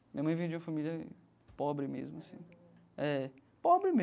Minha mãe veio de uma família pobre mesmo assim é pobre